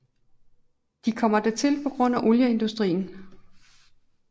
De kommer dertil på grund af olieindustrien